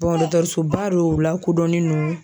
dɔkɔtɔrɔsoba don u la kodɔnnen don